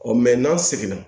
Ɔ n'a seginna